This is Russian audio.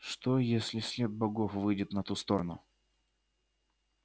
что если след богов выйдет на ту сторону